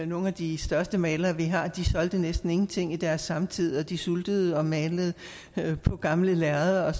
nogle af de største malere vi har haft de solgte næsten ingenting i deres samtid de sultede og malede på gamle lærreder og